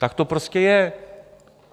Tak to prostě je.